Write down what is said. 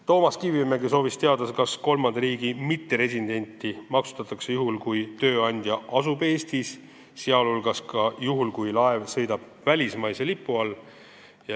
Toomas Kivimägi soovis teada, kas kolmanda riigi mitteresidenti maksustatakse juhul, kui tööandja asub Eestis, sh ka juhul, kui laev sõidab välismaise lipu all.